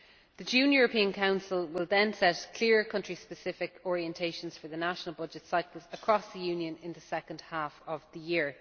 The June European Council will then set clear country specific orientations for the national budget cycles across the Union in the second half of the year.